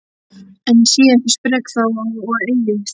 Enn sé ég sprek þrá og eilífð